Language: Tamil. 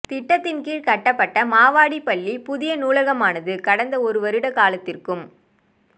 திட்டத்தின் கீழ் கட்டப்பட்ட மாவடிப்பள்ளி புதிய நூலகமானது கடந்த ஒரு வருட காலத்திற்கும்